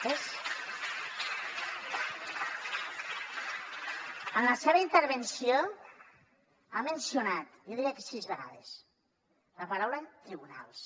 en la seva intervenció ha mencionat jo diria que sis vegades la paraula tribunals